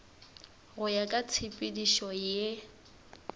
go ya ka tshepedišo ye